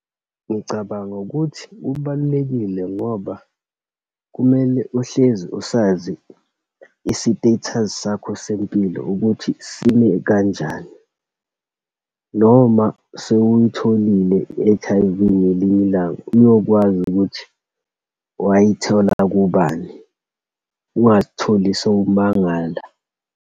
Ngicabanga ukuthi kubalulekile ngoba kumele uhlezi usazi isi-status sakho sempilo ukuthi sime kanjani. Noma sewuyitholile i-H_I_V ngelinye ilanga, uyokwazi ukuthi wayithola kubani. Ungazitholi sowumangala.